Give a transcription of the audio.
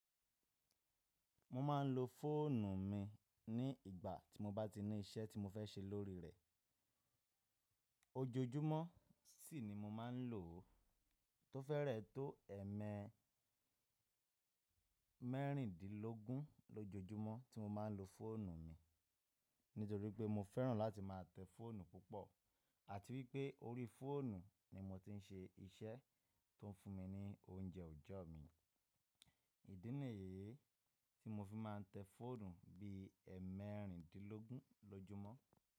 Mo ma n lo fóònù mi ní ìgbà tí mo bá ti ní iṣẹ́ tí mo fẹ́ ṣe lórí rẹ̀. Ojojúmọ́ ṣiṣi mo ma n lò ó. Tó fẹ́rẹ̀ tó mẹríndínlógún ójojúmọ́ tí mo ma n lo fóònù mi. Nítorí pé mo fẹ́ràn láti máa tẹ́ fóònù púpọ̀, àti wípé orí fóònù ni mo ti n ṣe iṣẹ́ tó n fún mi ní oúnjẹ òòjọ́ mi. Ìdúnàlẹ̀ yìí tí mo fi máa n tẹ́ fóònù bí i ẹmẹríndínlógún lójọ́mọ́